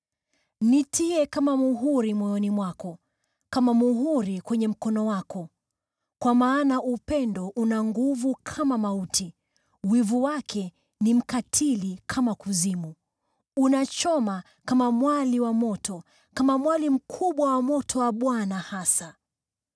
Nitie kama muhuri moyoni mwako, kama muhuri kwenye mkono wako; kwa maana upendo una nguvu kama mauti, wivu wake ni mkatili kama kuzimu. Unachoma kama mwali wa moto, kama mwali mkubwa wa moto wa Bwana hasa.